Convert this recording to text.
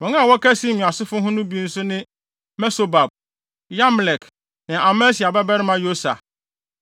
Wɔn a wɔka Simeon asefo ho no bi nso ne Mesobab, Yamlek ne Amasia babarima Yosa,